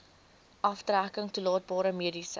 aftrekking toelaatbare mediese